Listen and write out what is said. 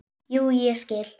Jú, ég skil.